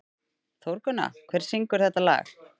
Þórgunna, hver syngur þetta lag?